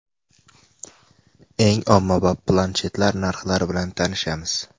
Eng ommabop planshetlar narxlari bilan tanishamiz.